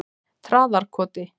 Traðarkoti